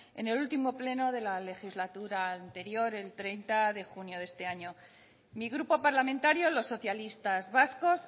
en el último pleno de la legislatura anterior el treinta de junio de este año mi grupo parlamentario los socialistas vascos